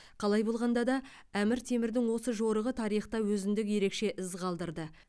қалай болғанда да әмір темірдің осы жорығы тарихта өзіндік ерекше із қалдырды